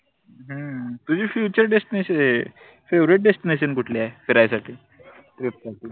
हम्म तुझी future destination हे favouritedestination कुठले ए फिरायसाठी?